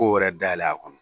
Ko wɛrɛ dayɛlɛ a kɔnɔ.